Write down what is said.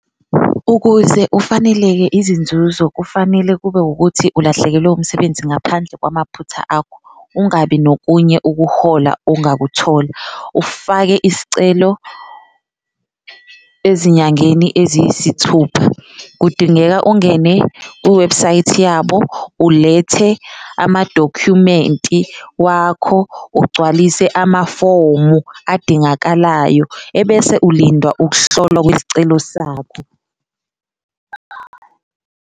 Ukuze ufaneleke izinzuzo kufanele kube wukuthi ulahlekelwe umsebenzi ngaphandle kwamaphutha akho, ungabi nokunye ukuhola ongakuthola, ufake iscelo ezinyangeni eziyisithupha, kudingeka ungene kuwebhusayithi yabo ulethe amadokhumenti wakho, ugcwalise amafomu adingakalayo ebese ulindwa ukuhlolwa kwesicelo sakho.